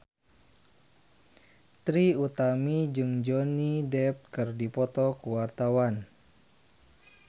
Trie Utami jeung Johnny Depp keur dipoto ku wartawan